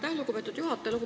Aitäh, lugupeetud juhataja!